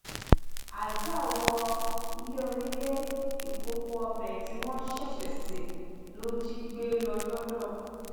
àdùá wọ ilé onílé ìkòkò ọbẹ tí wọn ṣẹṣẹ ṣe ló jí gbé lọ lodò